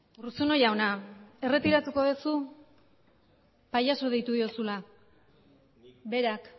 urruzuno jauna erretiratuko duzu pailazo deitu diozuna berak